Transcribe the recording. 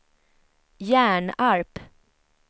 Hjärnarp